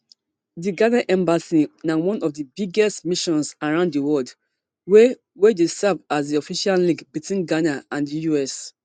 di ghana embassy na one of di biggest missions around di world wey dey serve as di official link between ghana and di us